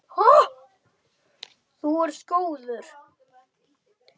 Þú ert góður.